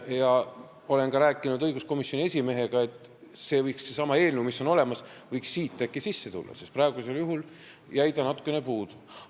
Ma olen rääkinud ka õiguskomisjoni esimehega, et see eelnõu, mis on olemas, võiks siia äkki sisse tulla, sest praegu jäi natukene puudu.